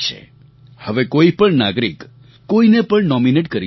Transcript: હવે કોઈ પણ નાગરિક કોઈને પણ નોમિનેટ કરી શકે છે